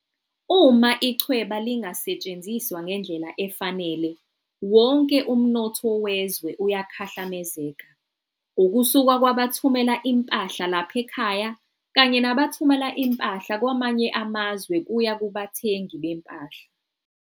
Uma ichweba lingasetshenziswa ngendlela efanele, wonke umnotho wezwe uyakhahlamezeka, ukusuka kwabathumela impahla lapha ekhaya kanye nabathumela impahla kwamanye amazwe kuya kubathengi bempahla.